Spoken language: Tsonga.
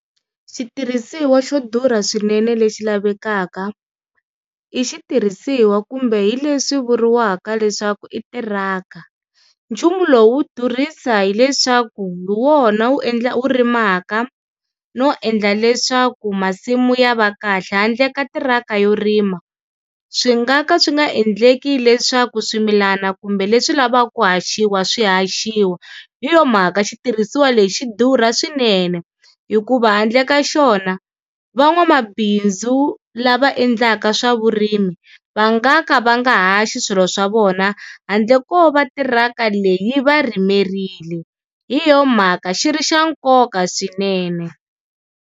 Xitirhisiwa xo durha swinene lexi lavekaka i xitirhisiwa kumbe hi leswi vuriwaka leswaku i tiraka, nchumu lowu durhisa hileswaku hi wona wu endlaka wu rimaka no endla leswaku masimu ya va kahle, handle ka tirhaka yo rima swi nga ka swi nga endleki leswaku swimilana kumbe leswi lavaka ku haxiwa swi haxiwa. Hi yona mhaka xitirhisiwa lexi xi durha swinene hikuva handle ka xona van'wamabindzu lava endlaka swa vurimi va nga ka va nga ha xi swilo swa vona handle ko va tirhaka leyi va ri yimerile hi yona mhaka xi ri xa nkoka swinene.